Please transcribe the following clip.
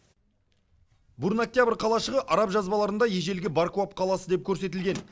бурно октябрь қалашығы араб жазбаларында ежелгі баркуап қаласы деп көрсетілген